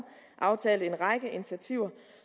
aftalte en række initiativer